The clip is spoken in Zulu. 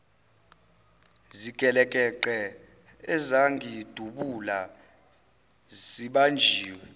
zigelekeqe ezangidubula sibanjiwe